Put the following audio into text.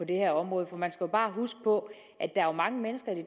det her område man skal jo bare huske på at der er mange mennesker i det